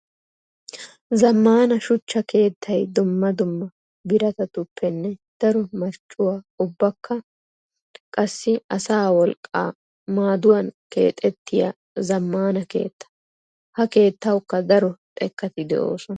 Zammaana shuchcha keettay dumma dumma biratattuppenne daro marccuwaa ubbakka qassi asaa wolqqaa maaduwan keexxetiya zammaana keetta. Ha keettawukka daro xekkatti de'osonna.